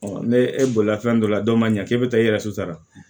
ne e bolila fɛn dɔ la dɔ ma ɲɛ k'e bɛ taa i yɛrɛ suturara